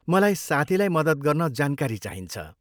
मलाई साथीलाई मदत गर्न जानकारी चाहिन्छ।